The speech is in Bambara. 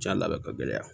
Jɛn labɛn ka gɛlɛya